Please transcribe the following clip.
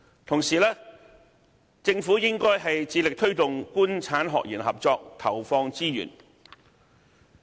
同時，政府應致力推動"官產學研"合作，為此投放資源。